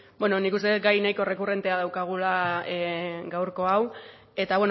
bueno nik uste dut gai nahiko errekurrentea daukagula gaurko hau eta